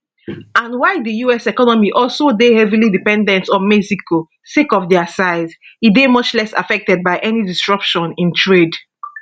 and while di us economy also dey heavily dependent on mexico sake of dia size e dey much less affected by any disruption in trade